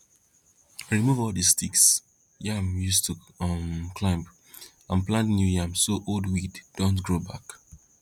remove all the sticks yam used to um climb and plant new yam so old weeds dont grow back